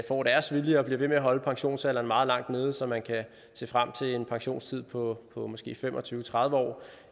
får deres vilje og bliver ved med at holde pensionsalderen meget langt nede så man kan se frem til en pensionstid på på måske fem og tyve til tredive år